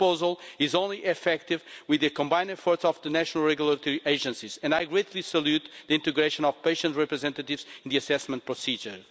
This proposal is only effective with the combined efforts of the national regulatory agencies and I greatly salute the integration of patient representatives in the assessment procedure.